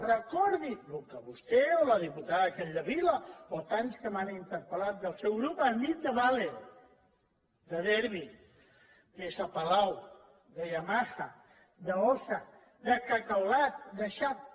recordi el que vostè o la diputada capdevila o tants que m’han interpel·lat del seu grup han dit de valeo de derbi de s palau de yamaha d’ossa de cacaolat de sharp